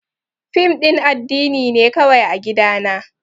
Fim din addini ne kawai a gidana.